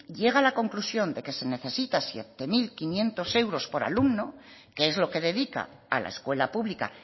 llega a la conclusión de que se necesita siete mil quinientos euros por alumno que es lo que dedica a la escuela pública